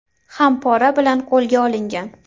ham pora bilan qo‘lga olingan.